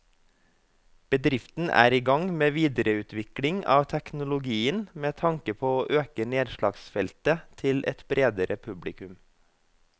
Bedriften er i gang med videreutvikling av teknologien med tanke på å øke nedslagsfeltet til et bredere publikum.